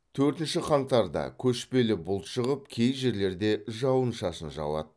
төртінші қаңтарда көшпелі бұлт шығып кей жерлерде жауын шашын жауады